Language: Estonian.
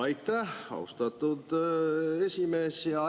Aitäh, austatud esimees!